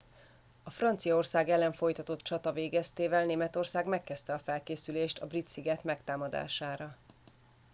a franciaország ellen folytatott csata végeztével németország megkezdte a felkészülést a brit sziget megtámadására